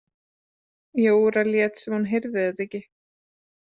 Jóra lét sem hún heyrði þetta ekki.